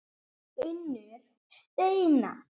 Unnur Steina.